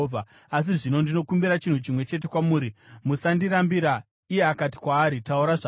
Asi zvino ndinokumbira chinhu chimwe chete kwamuri, musandirambira.” Iye akati kwaari, “Taura zvako.”